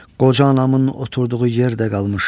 Qoca anamın oturduğu yer də qalmış.